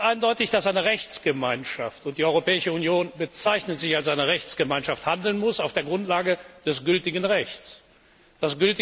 Es ist ganz eindeutig, dass eine Rechtsgemeinschaft und die Europäische Union bezeichnet sich als eine Rechtsgemeinschaft auf der Grundlage des gültigen Rechts handeln muss.